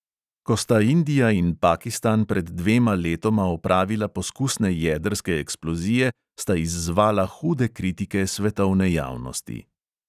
Ko sta indija in pakistan pred dvema letoma opravila poskusne jedrske eksplozije, sta izzvala hude kritike svetovne javnosti.